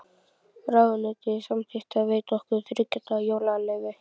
Ráðuneytið samþykkti að veita okkur þriggja daga jólaleyfi.